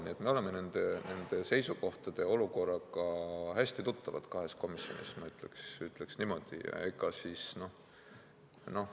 Nii et me oleme nende seisukohtade ja olukorraga hästi tuttavad kahes komisjonis, ma ütleksin niimoodi.